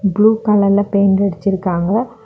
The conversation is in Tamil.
ப்ளூ கலர்ல பெயிண்ட் அடிச்சு இருக்காங்க.